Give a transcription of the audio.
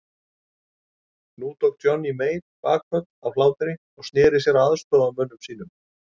Nú tók Johnny Mate bakföll af hlátri og sneri sér að aðstoðarmönnum sínum.